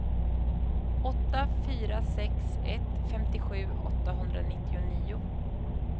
åtta fyra sex ett femtiosju åttahundranittionio